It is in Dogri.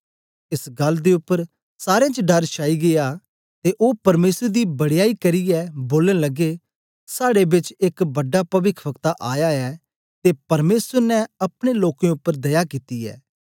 एस गल्ल दे उपर सारें च डर छाई गीया ते ओ परमेसर दी बड़याई करियै बोलन लगे साड़े बेच एक बड़ा पविखवक्ता आया ऐ ते परमेसर ने अपने लोकें उपर दया कित्ती ऐ